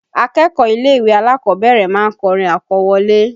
Akẹ́kọ̀ọ́ ilé-ìwé alákọ̀ọ́bẹ̀rẹ̀ ma ń kọrin àkọwọlé